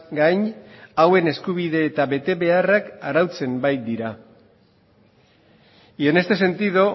gain hauen eskubide eta betebeharrak arautzen baitira y en este sentido